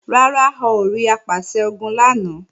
Rárá, a ò rí Apàṣẹ-Ogun lánàá